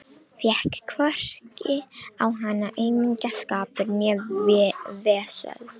Fékk hvorki á hana aumingjaskapur né vesöld.